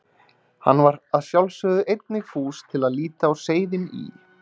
Hann var að sjálfsögðu einnig fús til að líta á seiðin í